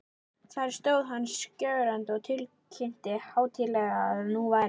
Þar stóð hann skjögrandi og tilkynnti hátíðlega, að nú væri